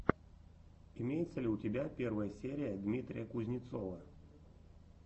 имеется ли у тебя первая серия дмитрия кузнецова